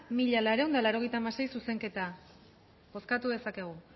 mila laurehun eta laurogeita hamasei zuzenketa bozkatu dezakegu